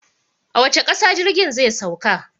A wace ƙasa jirgin zai sauka?